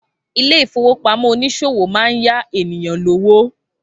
Ilé-ìfowópamó oníṣòwò máa ń yá ènìyàn lówó